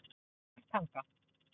Suðurtanga